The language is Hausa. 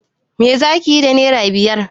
Me za ki yi da naira biyar?